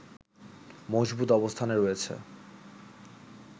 মজবুত অবস্থানে রয়েছে